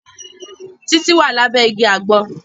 Títí wà lábé igi àgbọn